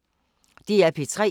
DR P3